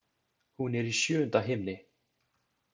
Hún er í sjöunda himni.